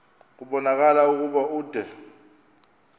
kubonakala ukuba ude